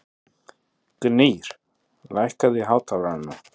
Gnýr, lækkaðu í hátalaranum.